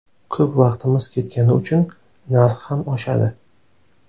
Ko‘p vaqtimiz ketgani uchun narx ham oshadi.